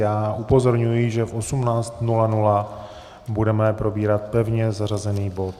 Já upozorňuji, že v 18.00 budeme probírat pevně zařazený bod.